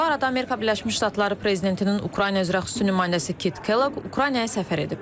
Bu arada Amerika Birləşmiş Ştatları prezidentinin Ukrayna üzrə xüsusi nümayəndəsi Kit Kellogg Ukraynaya səfər edib.